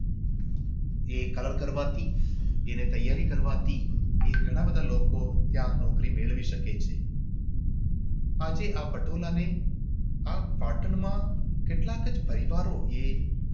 એ colour કરવાથી એને તૈયારી કરવાથી એ ઘણા બધા લોકો ત્યાં નૌકરી મેળવી શકે છે